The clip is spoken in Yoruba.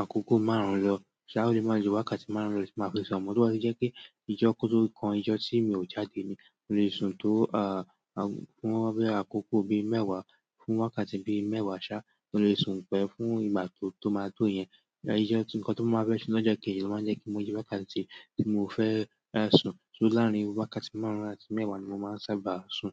àkókò márùn-ún lọ. Ṣé a ò lè máa lu wákàtí márùn-ún lọ tí màá fi ṣ'ọ̀mọ̀? Tí wọ́n sì jẹ́ kí ijọ́ oko tó kán ijọ́ tí mi ò jáde ni, mo lè sun tó ah fún wọ́n bẹ́ àkókò bí mẹ́wàá, fún wákàtí bí mẹ́wàá ṣá, mo lè sun pẹ́ fún ìgbà tó máa tó yẹn. Èyí jẹ́ tí nǹkan tó máa bẹ́ sí lọ́jọ́ kejì ló máa jẹ́ kí moye wákàtí tí mò ń fẹ́ sún. So láàrín wákàtí márùn-ún àti mẹ́wàá ni mo máa sábà sùn.